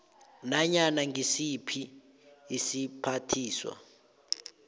nanyana ngisiphi isiphathiswa